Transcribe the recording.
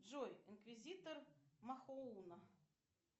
джой инквизитор махоуна